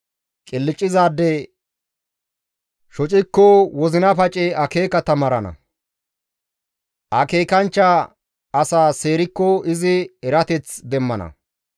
Qilccizaade shocikko wozina pacey akeeka taamarana; akeekanchcha asa seerikko izi erateth demmana.